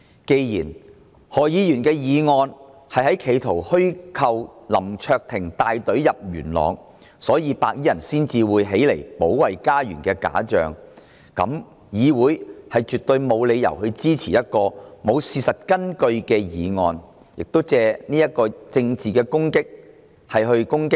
既然何議員的議案企圖虛構林卓廷議員帶隊進入元朗，所以白衣人才會起來保衞家園的假象，那麼議會絕對沒有理由支持一項沒有事實根據的議案，藉此對林卓廷議員作出政治攻擊。